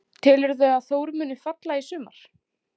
Telurðu að Þór muni falla í sumar?